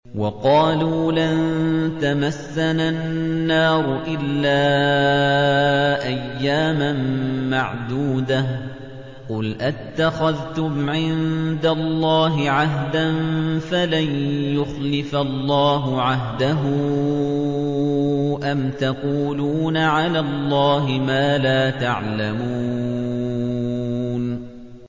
وَقَالُوا لَن تَمَسَّنَا النَّارُ إِلَّا أَيَّامًا مَّعْدُودَةً ۚ قُلْ أَتَّخَذْتُمْ عِندَ اللَّهِ عَهْدًا فَلَن يُخْلِفَ اللَّهُ عَهْدَهُ ۖ أَمْ تَقُولُونَ عَلَى اللَّهِ مَا لَا تَعْلَمُونَ